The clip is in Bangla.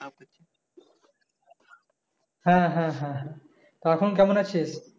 হ্যাঁ হ্যাঁ হ্যাঁ হ্যাঁ তা এখন কেমন আছিস?